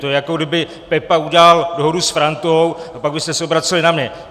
To je, jako kdyby Pepa udělal dohodu s Frantou a pak byste se obraceli na mě.